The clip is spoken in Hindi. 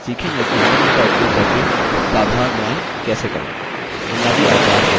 इस tutorial में आप सीखेंगे कि निम्न का उपयोग करके साधारण drawings कैसे करें